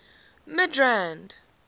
midrand